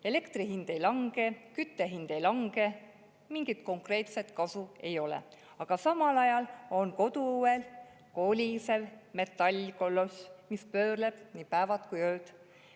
Elektri hind ei lange, kütte hind ei lange, mingit konkreetset kasu ei ole, aga samal ajal on koduõel kolisev metallkoloss, mis pöörleb nii päevad kui ööd.